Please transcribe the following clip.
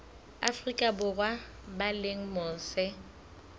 afrika borwa ba leng mose